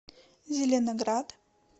зеленоград